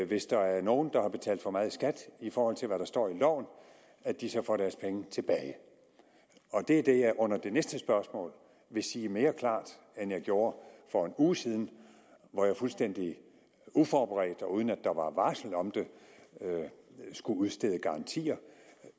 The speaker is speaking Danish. hvis der er nogen der har betalt for meget skat i forhold til hvad der står i loven at de så får deres penge tilbage og det er det jeg under det næste spørgsmål vil sige mere klart end jeg gjorde for en uge siden hvor jeg fuldstændig uforberedt og uden at der var varsel om det skulle udstede garantier